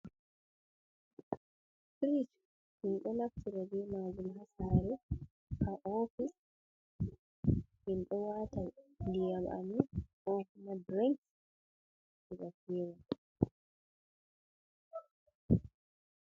"Firij" min ɗo naftira bee maajum ha saare, ha "oofis", min ɗo waata ndiyam amin "kookuma dirinka" ga feewa.